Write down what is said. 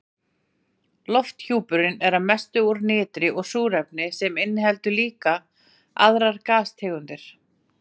Lofthjúpurinn er að mestu úr nitri og súrefni en inniheldur líka aðrar gastegundir.